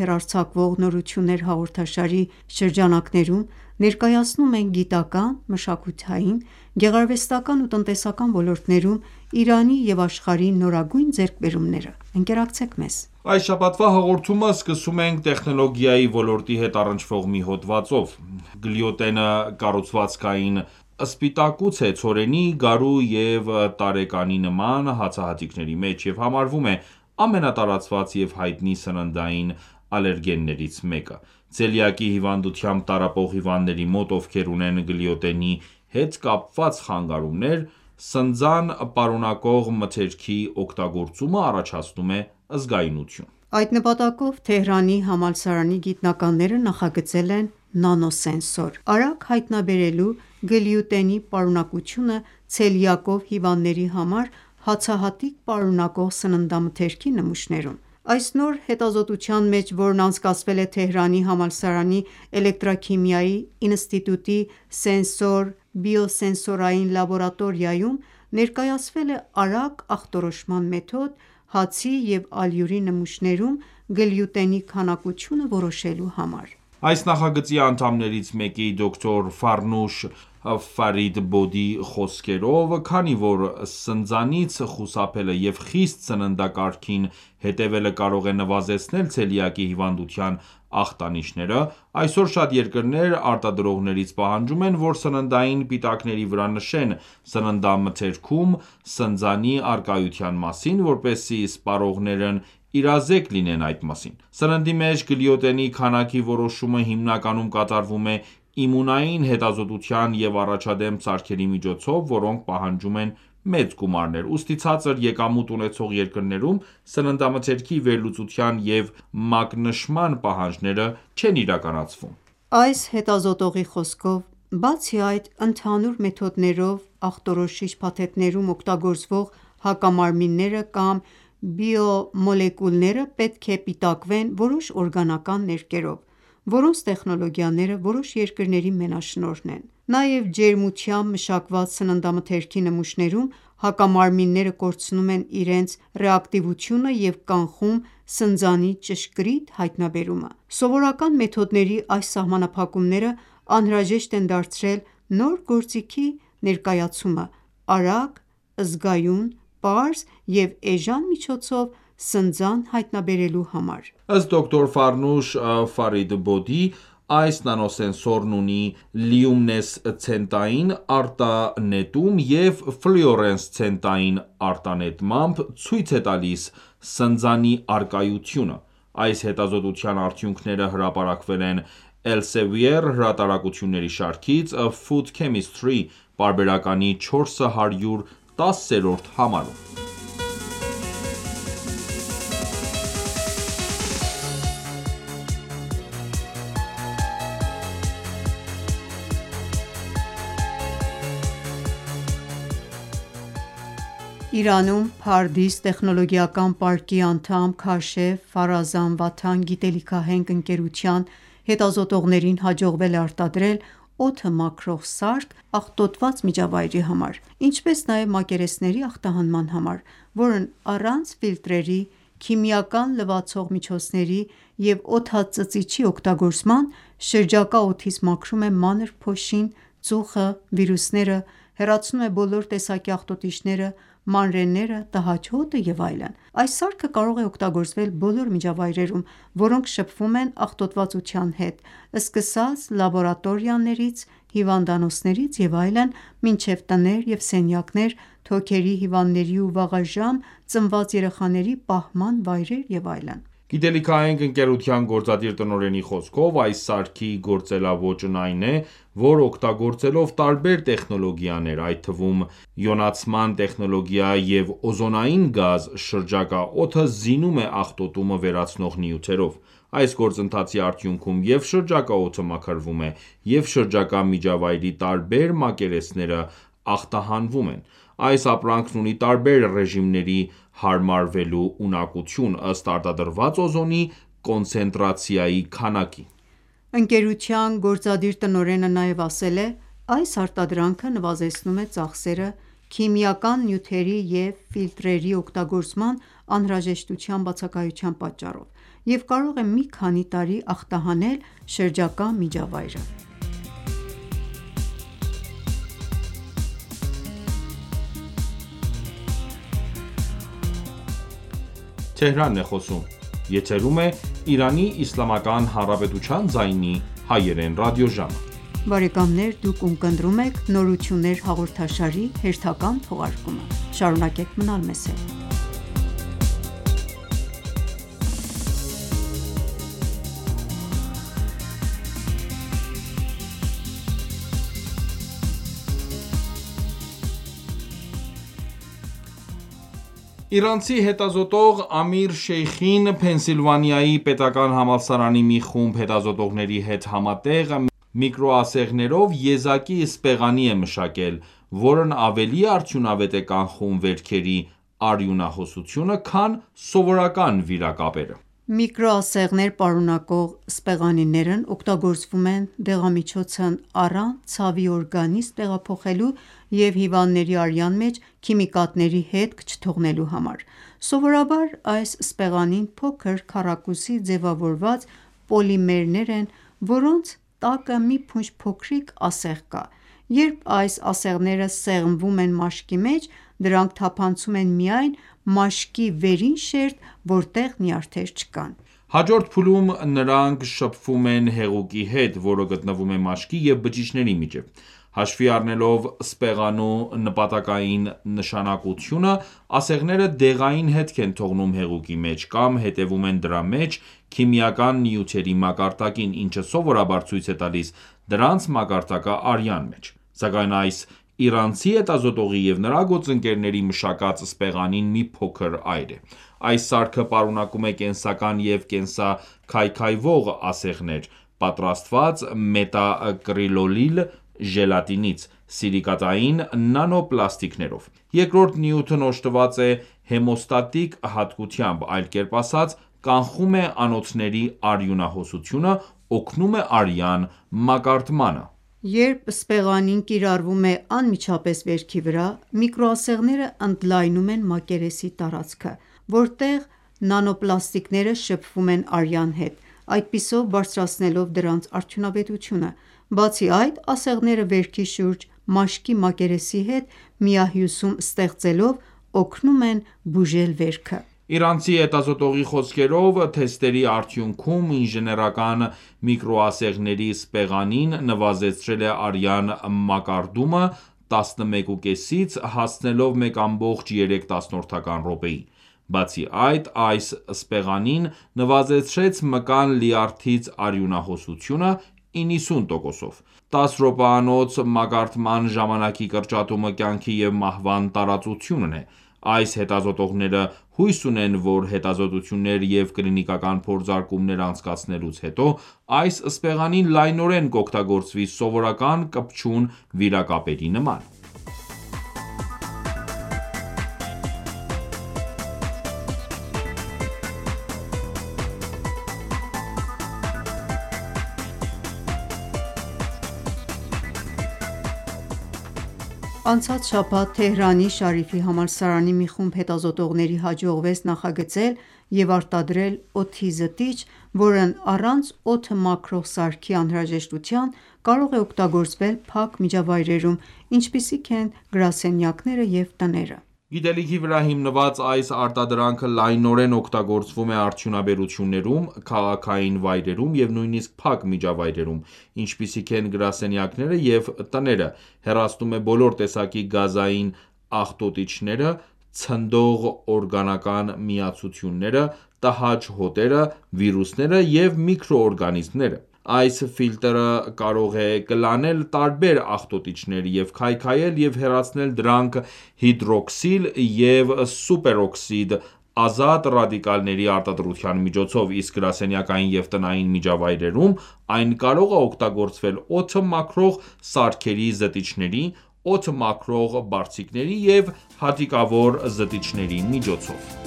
հեռարձակվող «Նորություններ» հաղորդաշարի շրջանակներում, ներկայացնում ենք գիտական, մշակութային, գեղարվեստական ու տնտեսական ոլորտներում Իրանի ու աշխարհի նորագույն ձեռքբերումները։ Ընկերակցեք մեզ։ Այս շաբաթվա հաղորդումը սկսում ենք տեխնոլգիայի ոլորտի հետ առնչվող մի հոդվածով։ Գլյուտենը կառուցվածքային սպիտակուց է ցորենի, գարու, և տարեկանի նման հացահատիկների մեջ, և համարվում է ամենատարածված և հայտնի սննդային ալերգեններից մեկը: Ցելիակի հիվանդությամբ տառապող հիվանդների մոտ, ովքեր ունեն գլյուտենի հետ կապված խանգարումներ, սնձան պարունակող մթերքի օգտագործումը առաջացնում է զգայունություն: Այդ նպատակով Թեհրանի համալսարանի գիտնականները նախագծել են նանոսենսոր՝ արագ հայտնաբերելու գլյուտենի պարունակությունը ցելյակով հիվանդների համար հացահատիկ պարունակող սննդամթերքի նմուշներում: Այս նոր հետազոտության մեջ, որն անցկացվել է Թեհրանի համալսարանի Էլեկտրաքիմիայի ինստիտուտի սենսոր-բիոսենսորային լաբորատորիայում, ներկայացվել է արագ ախտորոշման մեթոդ՝ հացի և ալյուրի նմուշներում գլյուտենի քանակությունը որոշելու համար: Այս նախագծի անդամներից մեկի՝ դոկտոր Ֆարնուշ Ֆարիդբոդի խոսքերով, քանի որ սնձանից խուսափելը և խիստ սննդակարգին հետևելը կարող է նվազեցնել ցելյակի հիվանդության ախտանիշները, այսօր շատ երկրներ արտադրողներից պահանջում են ,որ սննդային պիտակների վրա նշեն, սննդամթերքում սնձանի առկայության մասին, որպեսզի սպառողներն իրազեկ լինեն այդ մասին։ Սննդի մեջ գլյուտենի քանակի որոշումը հիմնականում կատարվում է իմունային հետազոտության և առաջադեմ սարքերի միջոցով, որոնք պահանջում են մեծ գումարներ։ Ուստի ցածր եկամուտ ունեցող երկրներում սննդամթերքի վերլուծության և մակնշման պահանջները չեն իրականացվում: Այս հետազոտողի խոսքով՝ բացի այդ, ընդհանուր մեթոդներով ախտորոշիչ փաթեթներում օգտագործվող հակամարմինները կամ բիոմոլեկուլները պետք է պիտակվեն որոշ օրգանական ներկերով, որոնց տեխնոլոգիաները որոշ երկրների մենաշնորհն են: Նաև ջերմությամբ մշակված սննդամթերքի նմուշներում հակամարմինները կորցնում են իրենց ռեակտիվությունը և կանխում սնձանի ճշգրիտ հայտնաբերումը: Սովորական մեթոդների այս սահմանափակումները անհրաժեշտ են դարձրել նոր գործիքի ներկայացումը՝արագ, զգայուն, պարզ և էժան միջոցով սնձան հայտնաբերելու համար: Ըստ դոկտոր Ֆարնուշ Ֆարիդբոդի՝ այս նանոսենսորն ունի լյումինեսցենտային արտանետում և ֆլյուորեսցենտային արտանետմամբ ցույց է տալիս սնձանի առկայությունը: Այս հետազոտության արդյունքները հրապարակվել են Elsevier հրատարակությունների շարքից՝ «Food Chemistry» պարբերականի 410-րդ համարում: Իրանում Pardis տեխնոլոգիական պարկի անդամ Քաշեֆ Ֆարազան վաթան գիտելիքահենք ընկերության հետազոտողներին հաջողվել է արտադրել օդը մաքրող սարք աղտոտված միջավայրերի համար, ինչպես նաև մակերեսների ախտահանման համար, որն առանց ֆիլտրերի, քիմիական լվացող միջոցների և օդածծիչի օգտագործման, շրջակա օդից մաքրում է մանր փոշին, ծուխը, վիրուսները, հեռացնում է բոլոր տեսակի աղտոտիչները, մանրէները, տհաճ հոտը և այլն։ Այս սարքը կարող է օգտագործվել բոլոր միջավայրերում, որոնք շփվում են աղտոտվածության հետ՝ սկսած լաբորատորիաներից, հիվանդանոցներից և այլն, մինչև տներ և սենյակներ, թոքերի հիվանդների ու վաղաժամ ծնված երեխաների պահման վայրեր և այլն: Գիտելիքահենք ընկերության գործադիր տնօրենի խոսքով, այս սարքի գործելաոճն այն է, որ օգտագործելով տարբեր տեխնոլոգիաներ, այդ թվում իոնացման տեխնոլոգիա և օզոնային գազ, շրջակա օդը զինում է աղտոտումը վերացնող նյութերով։ Այս գործընթացի արդյունքում և՛ շրջակա օդը մաքրվում է, և՛ շրջակա միջավայրի տարբեր մակերեսները ախտահանվում են: Այս ապրանքն ունի տարբեր ռեժիմների հարմարվելու ունակություն՝ ըստ արտադրված օզոնի կոնցենտրացիայի քանակի: Ընկերության գործադիր տնօրենի խոսքով՝ այս արտադրանքը նվազեցնում է ծախսերը՝ քիմիական նյութերի և ֆիլտրերի օգտագործման անհրաժեշտության բացակայության պատճառով և կարող է մի քանի տարի ախտահանել շրջակա միջավայրը։ Իրանցի հետազոտող Ամիր Շեյխին Փենսիլվանիայի պետական համալսարանի մի խումբ հետազոտողների հետ համատեղ միկրոասեղներով եզակի սպեղանի է մշակել, որն ավելի արդյունավետ է կանխում վերքերի արյունահոսությունը, քան սովորական վիրակապերը: Միկրոասեղներ պարունակող սպեղանիներն օգտագործվում են դեղամիջոցն առանց ցավի օրգանիզմ տեղափոխելու և հիվանդների արյան մեջ քիմիկատների հետք չթողնելու համար: Սովորաբար այս սպեղանին փոքր քառակուսի ձևավորված պոլիմերներ են, որոնց տակը մի փունջ փոքրիկ ասեղ կա: Երբ այս ասեղները սեղմվում են մաշկի մեջ, դրանք թափանցում են միայն մաշկի վերին շերտ, որտեղ նյարդեր չկան։ Հաջորդ փուլում նրանք շփվում են հեղուկի հետ, որը գտնվում է մաշկի և բջիջների միջև։ Հաշվի առնելով սպեղանու նպատակային նշանակությունը՝ ասեղները դեղային հետք են թողնում հեղուկի մեջ կամ հետևում են դրա մեջ քիմիական նյութերի մակարդակին, ինչը սովորաբար ցույց է տալիս դրանց մակարդակը արյան մեջ: Սակայն այս իրանցի հետազոտողի և նրա գործընկերների մշակած սպեղանին մի փոքր այլ է: Այս սարքը պարունակում է կենսական և կենսաքայքայվող ասեղներ՝ պատրաստված մետակրիլոիլ ժելատինից՝ սիլիկատային նանոպլաստիկներով: Երկրորդ նյութն օժտված է հեմոստատիկ հատկությամբ, այլ կերպ ասած՝ կանխում է անոթների արյունահոսությունը, օգնում է արյան մակարդմանը։ Երբ սպեղանին կիրառվում է անմիջապես վերքի վրա, միկրոասեղները ընդլայնում են մակերեսի տարածքը, որտեղ նանոպլաստիկները շփվում են արյան հետ, այդպիսով բարձրացնելով դրանց արդյունավետությունը: Բացի այդ, ասեղները վերքի շուրջ մաշկի մակերեսի հետ միահյուսում ստեղծելով, օգնում են բուժել վերքը: Իրանցի հետազոտողի խոսքով՝ թեստերի արդյունքում ինժեներական միկրոասեղների սպեղանին նվազեցրել է արյան մակարդումը 11,5-ից հասցնելով 1,3 րոպեի: Բացի այդ, այս սպեղանին նվազեցրեց մկան լյարդից արյունահոսությունը 90%-ով: 10 րոպեանոց մակարդման ժամանակի կրճատումը կյանքի և մահվան տարածությունն է: Այս հետազոտողները հույս ունեն, որ հետազոտություններ և կլինիկական փորձարկումներ անցկացնելուց հետո այս սպեղանին լայնորեն կօգտագործվի սովորական կպչուն վիրակապերի նման: Անցած շաբաթ Թեհրանի Շարիֆի համալսարանի մի խումբ հետազոտողների հաջողվեց նախագծել և արտադրել օդի զտիչ, որը առանց օդը մաքրող սարքի անհրաժեշտության, կարող է օգտագործվել փակ միջավայրերում, ինչպիսիք են գրասենյակները և տները: Գիտելիքի վրա հիմնված այս արտադրանքը լայնորեն օգտագործվում է արդյունաբերություններում, քաղաքային վայրերում և նույնիսկ փակ միջավայրերում, ինչպիսիք են գրասենյակները և տները, հեռացնում է բոլոր տեսակի գազային աղտոտիչները, ցնդող օրգանական միացությունները, տհաճ հոտերը, վիրուսները և միկրոօրգանիզմները: Այս ֆիլտրը կարող է կլանել տարբեր աղտոտիչներ և քայքայել և հեռացնել դրանք հիդրոքսիլ և սուպերօքսիդ ազատ ռադիկալների արտադրության միջոցով, իսկ գրասենյակային և տնային միջավայրերում այն կարող է օգտագործվել օդը մաքրող սարքերի զտիչների, օդը մաքրող բարձիկների և հատիկավոր զտիչների միջոցով։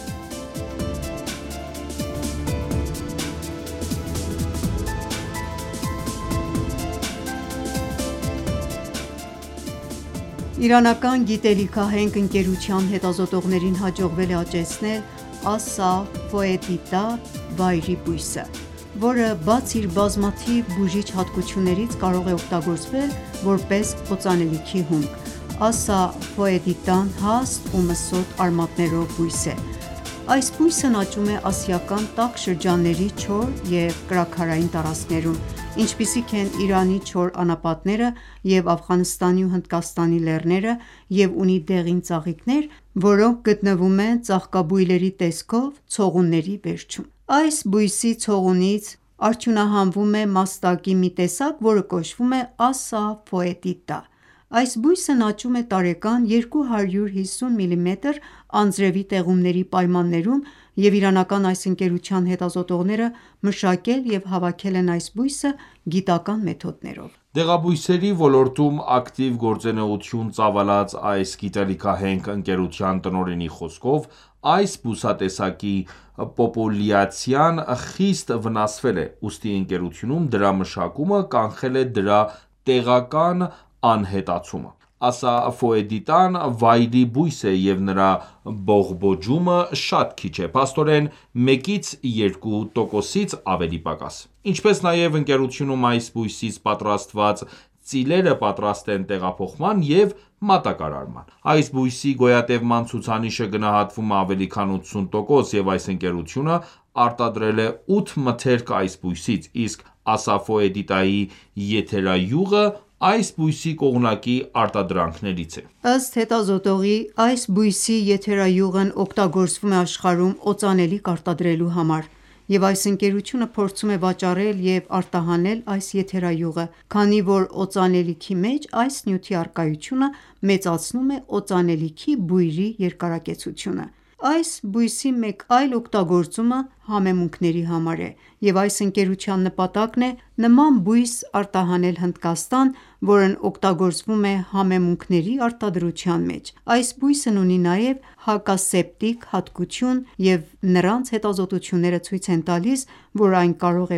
Իրանական գիտելիքահենք ընկերության հետազոտողներին հաջողվել է աճեցնել Ասաֆոետիդա վայրի բույսը, որը, բացի իր բազմաթիվ բուժիչ հատկություններից, կարող է օգտագործվել որպես օծանելիքի հումք։ Ասաֆոետիդան հաստ ու մսոտ արմատներով բույս է։ Այս բույսն աճում է ասիական տաք շրջանների չոր և կրաքարային տարածքներում, ինչպիսիք են Իրանի չոր անապատները և Աֆղանստանի ու Հնդկաստանի լեռները և ունի դեղին ծաղիկներ, որոնք գտնվում են ծաղկաբույլերի տեսքով ցողունների վերջում: Այս բույսի ցողունից արդյունահանվում է մաստակի մի տեսակ, որը կոչվում է ասաֆոետիդա։ Այս բույսն աճում է տարեկան 250 մմ անձրևի տեղումների պայմաններում, և իրանական այս ընկերության հետազոտողները մշակել և հավաքել են այս բույսը գիտական մեթոդներով։ Դեղաբույսերի ոլորտում ակտիվ գործունեություն ծավալած այս գիտելիքահենք ընկերության տնօրենի խոսքով, այս բուսատեսակի պոպուլյացիան խիստ վնասվել է, ուստի ընկերությունում դրա մշակումը կանխել է դրա տեղական անհետացումը։ Ասաֆոետիդան վայրի բույս է և նրա բողբոջումը շատ քիչ է, փաստորեն 1-2%-ից ավելի պակաս։ Ինչպես նաև ընկերությունում այս բույսից պատրաստված ծիլերը պատրաստ են տեղափոխման և մատակարարման։ Այս բույսի գոյատևման ցուցանիշը գնահատվում է ավելի քան 80%, և այս ընկերությունը արտադրել է 8 մթերք այս բույսից, իսկ ասաֆոետիդայի եթերայուղը այս բույսի կողմնակի արտադրանքներից է։ Ըստ այս հետազոտողի՝ այս բույսի եթերայուղն օգտագործվում է աշխարհում օծանելիք արտադրելու համար, և այս ընկերությունը փորձում է վաճառել և արտահանել այս եթերայուղը, քանի որ օծանելիքի մեջ այս նյութի առկայությունը մեծացնում է օծանելիքի բույրի երկարակեցությունը։ Այս բույսի մեկ այլ օգտագործումը համեմունքների համար է, և այս ընկերության նպատակն է նման բույս արտահանել Հնդկաստան, որն օգտագործվում է համեմունքների արտադրության մեջ։ Այս բույսն ունի նաև հակասեպտիկ հատկություն, և նրանց հետազոտությունները ցույց են տալիս, որ այն կարող